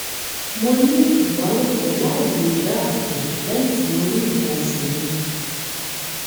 mo ní ìbálòpọ̀ láìlo ìdáàbòbò lẹ́yìn tí mo rí nǹkan oṣù mi